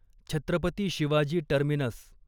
Chhatrapati Shivaji terminus